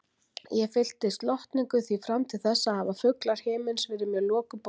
Ég fyllist lotningu, því fram til þessa hafa fuglar himins verið mér lokuð bók.